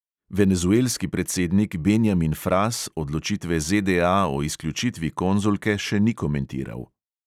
Venezuelski predsednik benjamin fras odločitve ZDA o izključitvi konzulke še ni komentiral.